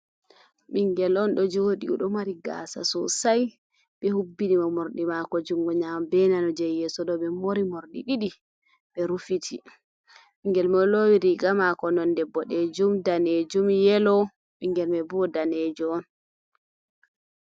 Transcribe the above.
Ɓingel on ɗo joɗi oɗo mari gasa sosai ɓe hubbini mo morɗi mako jungo nyamo be nano. Je yeso ɗo ɓe mori morɗi ɗiɗi ɓe rufiti. ɓingel mai lowi riga mako nonde boɗejum, danejum, yelo. Ɓingel mai bo o'danejo on.